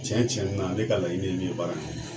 Cɛn cɛn na ne ka laɲini ye min ye baara in na